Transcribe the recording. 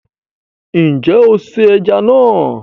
Nje o se eja na